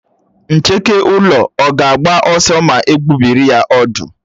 Ncheke ụlọ ọ̀ ga-agba ọsọ ma egbubiri ya ọ̀dú?